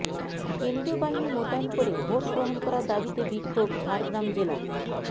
কেন্দ্রীয় বাহিনী মোতায়ন করে ভোট গ্রহন করার দাবিতে বিক্ষোভ ঝাড়্গ্রাম জেলা